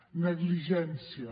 negligència